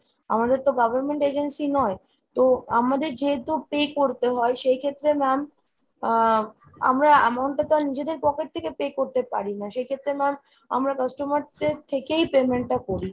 আমাদের তো government agency নয়। তো আমাদের যেহেতু pay করতে হয় সেইক্ষেত্রে ma'am আহ আমরা amount টা তো আর নিজেদের pocket থেকে pay করতে পারিনা। সেইক্ষেত্রে ma'am আমরা customer দের থেকেই payment টা করি।